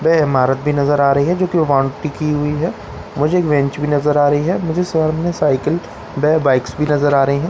में इमारत भी नजर आ रही है जो की वांट टिकी हुई है मुझे एक बेंच भी नजर आ रही है और मुझे सामने में साइकिल व बाइक्स भी नजर आ रही हैं ।